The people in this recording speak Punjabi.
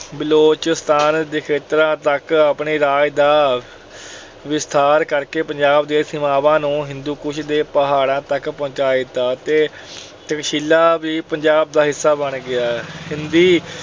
ਬਲੋਚਿਸਤਾਨ ਦੇ ਖੇਤਰਾਂ ਤੱਕ ਆਪਣੇ ਰਾਜ ਦਾ ਵਿਸਥਾਰ ਕਰਕੇ ਪੰਜਾਬ ਦੀਆਂ ਸੀਮਾਵਾਂ ਨੂੰ ਹਿੰਦੂਕੁਸ਼ ਦੀਆਂ ਪਹਾੜਾਂ ਤੱਕ ਪਹੁੰਚਾ ਦਿੱਤਾ ਤੇ ਤਕਸ਼ੀਲਾ ਵੀ ਪੰਜਾਬ ਦਾ ਹਿੱਸਾ ਬਣ ਗਿਆ। ਸਿੰਧੀ,